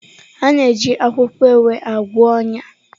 A na-eji akwụkwọ ewe agwọ ọnya.